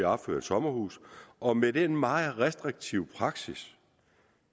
opført et sommerhus og med den meget restriktive praksis